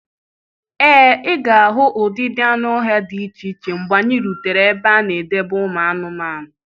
Ee, ị ga-ahụ ụdịdị anụ ọhịa dị iche iche mgbe anyị rutere ebe a na-edebe ụmụ anụmanụ.